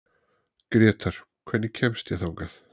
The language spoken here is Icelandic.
Grétar, hvernig kemst ég þangað?